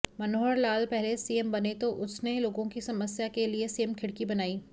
मनोहर लाल पहले सीएम बने तो उसने लोगों की समस्या के लिए सीएम खिड़की बनाई